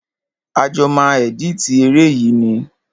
A jọ máa ẹ̀dítì eré yìí ni.